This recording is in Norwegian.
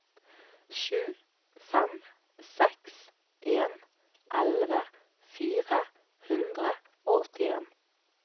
sju fem seks en elleve fire hundre og åttien